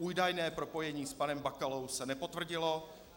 Údajné propojení s panem Bakalou se nepotvrdilo.